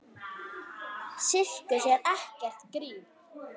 Sirkus er ekkert grín.